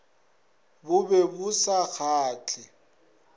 bo be bo sa kgahle